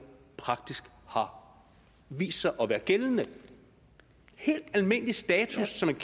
praktisk har vist sig at være gældende en helt almindelig status som